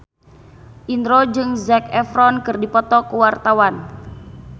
Indro jeung Zac Efron keur dipoto ku wartawan